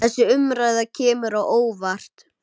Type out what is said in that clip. Þessi umræða kemur á óvart.